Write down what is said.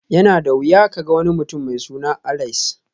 Yana da wuya ka ga wani mutum mai suna Alice